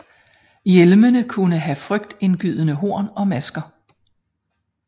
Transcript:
Hjelmene kunne have frygtindgydende horn og masker